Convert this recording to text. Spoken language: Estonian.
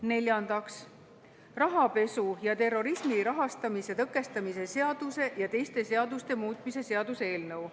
Neljandaks, rahapesu ja terrorismi rahastamise tõkestamise seaduse ja teiste seaduste muutmise seaduse eelnõu.